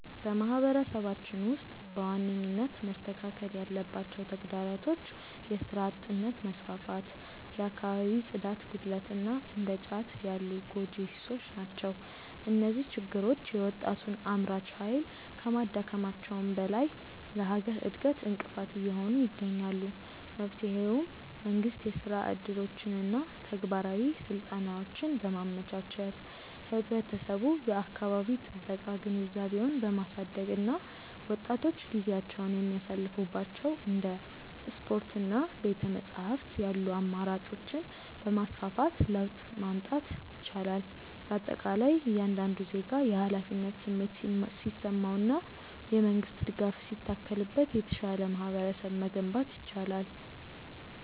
በማህበረሰባችን ውስጥ በዋነኝነት መስተካከል ያለባቸው ተግዳሮቶች የሥራ አጥነት መስፋፋት፣ የአካባቢ ጽዳት ጉድለት እና እንደ ጫት ያሉ ጎጂ ሱሶች ናቸው። እነዚህ ችግሮች የወጣቱን አምራች ኃይል ከማዳከማቸውም በላይ ለሀገር እድገት እንቅፋት እየሆኑ ይገኛሉ። መፍትሄውም መንግስት የሥራ ዕድሎችንና ተግባራዊ ስልጠናዎችን በማመቻቸት፣ ህብረተሰቡ የአካባቢ ጥበቃ ግንዛቤውን በማሳደግ እና ወጣቶች ጊዜያቸውን የሚያሳልፉባቸው እንደ ስፖርትና ቤተ-መጻሕፍት ያሉ አማራጮችን በማስፋፋት ለውጥ ማምጣት ይቻላል። በአጠቃላይ እያንዳንዱ ዜጋ የኃላፊነት ስሜት ሲሰማውና የመንግስት ድጋፍ ሲታከልበት የተሻለ ማህበረሰብ መገንባት ይቻላል።